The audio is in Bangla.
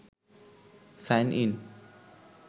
sign in